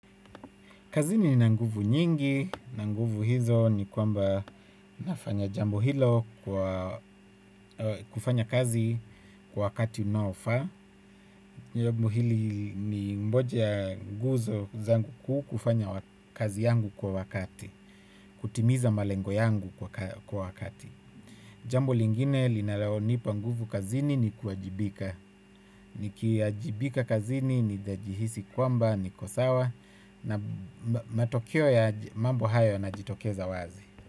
Kazini nina nguvu nyingi, na nguvu hizo ni kwamba nafanya jambo hilo kufanya kazi kwa wakati unofaa. Jambo hili ni moja ya nguzo zangu kuu kufanya kazi yangu kwa wakati, kutimiza malengo yangu kwa wakati. Jambu lingine linalonipa nguvu kazini ni kuwajibika. Nikiwajibika kazini, ninajihisi kwamba, niko sawa. Na matokio ya mambo hayo na jitokeza wazi.